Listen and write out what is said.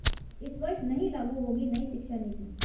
इस वर्ष नहीं लागू होगी नई शिक्षा नीति